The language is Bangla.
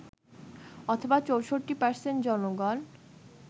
অথবা ৬৪% জনগণ